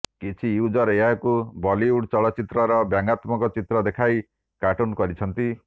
କିଛି ୟୁଜର୍ ଏହାକୁ ବଲିଉଡ୍ ଚଳଚ୍ଚିତ୍ରର ବ୍ୟଙ୍ଗାତ୍ମକ ଚିତ୍ର ଦେଖାଇ କାର୍ଟୁନ୍ କରିଛନ୍ତି